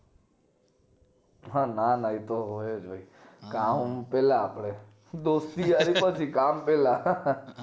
ના ના એ તો હોય જ કામ પેલા આપડે દોસ્તી યારી પછી કામ પેલા